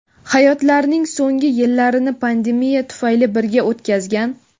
hayotlarining so‘nggi yillarini pandemiya tufayli birga o‘tkazgan.